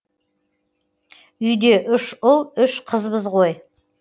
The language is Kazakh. үйде үш ұл үш қызбыз ғой